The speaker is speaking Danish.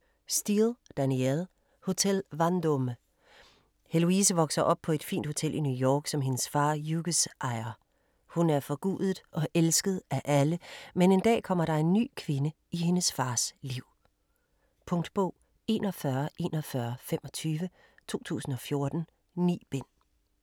Steel, Danielle: Hotel Vendôme Heloise vokser op på et fint hotel i New York, som hendes far Hugues ejer. Hun er forgudet og elsket af alle, men en dag kommer der en ny kvinde i hendes fars liv. Punktbog 414125 2014. 9 bind.